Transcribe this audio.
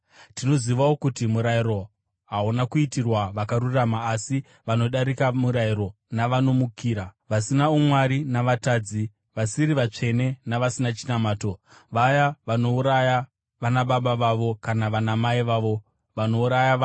Tinozivawo kuti murayiro hauna kuitirwa vakarurama asi vanodarika murayiro navanomukira, vasina umwari navatadzi, vasiri vatsvene navasina chinamato; vaya vanouraya vanababa vavo kana vanamai vavo, vanouraya vanhu,